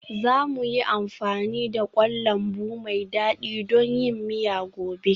Za mu yi amfani da kwan lambu mai dadi don yin miya gobe.